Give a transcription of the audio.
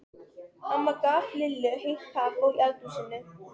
Amma gaf Lillu heitt kakó í eldhúsinu.